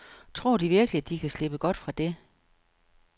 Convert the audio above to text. Tror de virkelig, at de kan slippe godt fra dét?